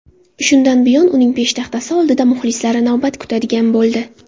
Shundan buyon uning peshtaxtasi oldida muxlislari navbat kutadigan bo‘ldi.